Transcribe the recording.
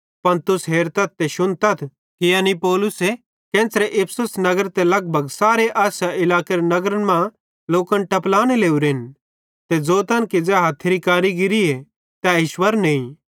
पन तुस हेरतथ ते शुन्तन कि एना दूई मैनू पौलुसेरे ज़ेरे केन्च़रे इफिसुस नगरे ते लगभग सारे आसिया इलाकेरे नगरन मां लोकन टपलाने लोरेन ते ज़ोतन कि ज़ै हथ्थेरां केरि कारीगिरीए तै ईश्वर नईं